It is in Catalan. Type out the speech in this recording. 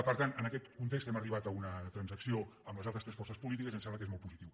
per tant en aquest context hem arribat a una trans·acció amb les altres tres forces polítiques i ens sembla que és molt positiu